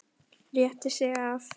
Rétti sig af.